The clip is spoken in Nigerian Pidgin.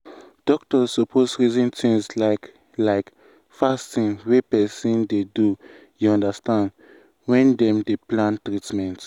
doctors suppose reason things like like fasting wey person dey do you understand when dem dey plan treatment.